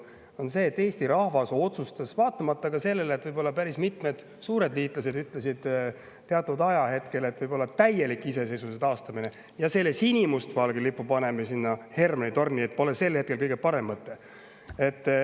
See on see, et Eesti rahvas otsustas vaatamata sellele, et päris mitmed suured liitlased ütlesid sel ajahetkel, et täielik iseseisvuse taastamine ja sinimustvalge lipu panemine Hermanni torni pole kõige parem mõte.